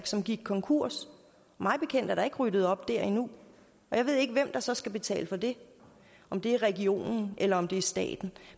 som gik konkurs mig bekendt er der ikke ryddet op der endnu jeg ved ikke hvem der så skal betale for det om det er regionen eller om det er staten